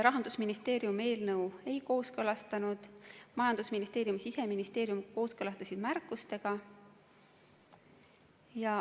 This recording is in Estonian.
Rahandusministeerium eelnõu ei kooskõlastanud, majandusministeerium ja Siseministeerium kooskõlastasid märkustega.